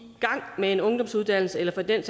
gang med en ungdomsuddannelse eller for den